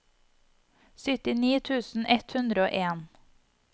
syttini tusen ett hundre og en